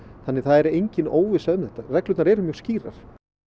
þannig það er engin óvissa um þetta reglurnar eru mjög skýrar